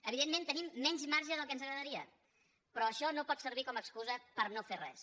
evidentment tenim menys marge del que ens agradaria però això no pot servir com a excusa per no fer res